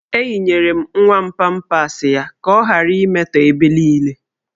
Eyinyere m nwa m pampas ya ka ọ ghara imetọ ebe niile.